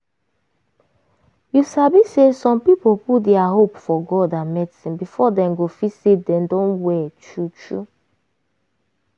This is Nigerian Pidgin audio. you sabi say some people put dia hope for god and medicine before dem go dey feel say dem done well true true.